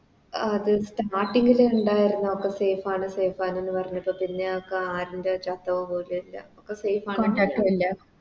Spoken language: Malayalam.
അത് Starting ല് ഇണ്ടാരുന്നു ഒക്കെ Safe ആണ് Safe ആണ് പറഞ്ഞപ്പോ പിന്നെ ആരിൻറെ പോലു ഇല്ല ഒക്കെ Safe ആണ്